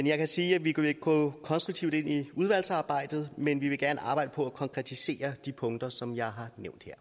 jeg kan sige at vi vil gå konstruktivt ind i udvalgsarbejdet men vi vil gerne arbejde på at konkretisere de punkter som jeg